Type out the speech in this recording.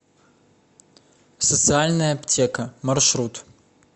социальная аптека маршрут